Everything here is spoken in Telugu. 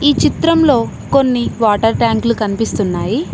ఈ చిత్రంలో కొన్ని వాటర్ ట్యాంకులు కనిపిస్తున్నాయి.